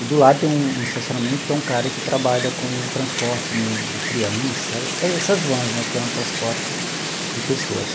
E do lado tem um estacionamento que é um cara que trabalha com transporte de de crianças, essas vans né, que é um transporte de pessoas.